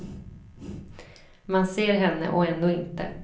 Man ser henne och ändå inte.